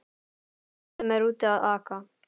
Mann sem er úti að aka!